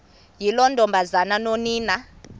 yiloo ntombazana nonina